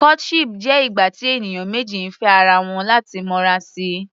Courtship jẹ́ ìgbà tí ènìyàn méjì ń fẹ́ ara wọn láti lè mọra si.